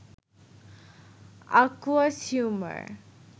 aqueous humour